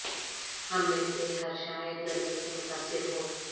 ہم میں سے ہر شاید گرمی سے متاثر ہو